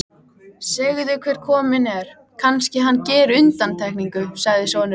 Segðu hver kominn er, kannski hann geri undantekningu, sagði sonurinn.